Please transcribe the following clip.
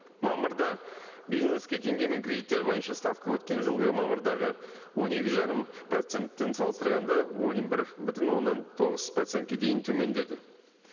мамырда бизнеске теңгемен кредиттер бойынша ставка өткен жылғы мамырдағы он екі жарым процентпен салыстырғанда он бір бүтін оннан тоғыз процентке дейін төмендеді